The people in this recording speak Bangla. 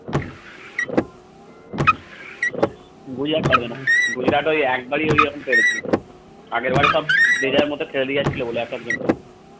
গুজরাট পারবে না গুজরাট ওই একবারই ওই পেরেছিল আগেরবার সব যে যার মত খেলে দিয়ে যাচ্ছিল বলে এক একজন করে